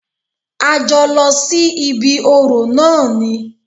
A jọ lọ sí ibí orò náà ni.